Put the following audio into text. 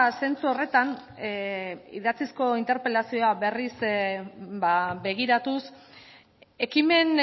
zentzu horretan idatzizko interpelazioa berriz begiratuz ekimen